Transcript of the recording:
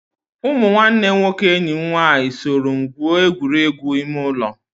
Ụmụ nwanne nwoke enyi m nwaanyị soro m gwuo egwuregwu ime ụlọ.